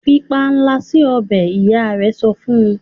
fí panla si ọbẹ! ìyá rẹ sọfún.